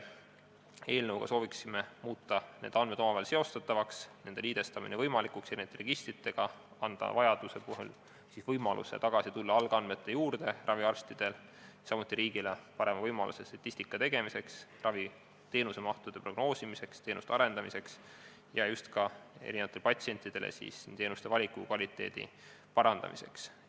Eelnõuga soovime muuta need andmed omavahel seostatavaks ja nende liidestamise võimalikuks ning anda nende registrite abil raviarstidele vajaduse korral võimalus tulla tagasi algandmete juurde, samuti anda riigile parem võimalus statistika tegemiseks, raviteenuste mahu prognoosimiseks, teenuste arendamiseks ja patsientidele osutatavate teenuste nii valiku kui ka kvaliteedi parandamiseks.